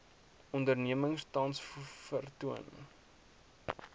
onderneming tans vertoon